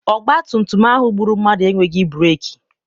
ọgbatumtum ahụ gbụrụ mmadụ enweghị breeki.